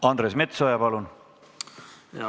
Andres Metsoja, palun!